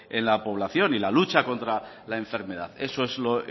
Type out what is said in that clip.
en la población y en la lucha contra la enfermedad eso es lo